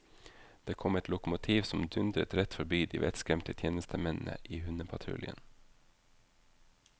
Det kom et lokomotiv som dundret rett forbi de vettskremte tjenestemennene i hundepatruljen.